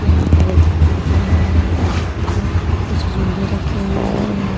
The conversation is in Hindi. यहाँ पर एक पार्क बना हुआ है। जहाँ पर कुछ झूले रखे हुए है। यह --